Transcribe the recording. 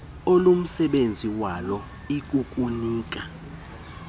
olumsebenzi wayo ikukunika